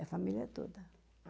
É, família toda.